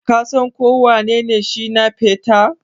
Ka San ko wanene Shina peter?